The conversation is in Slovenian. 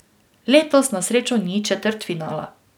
Letos na srečo ni četrtfinala.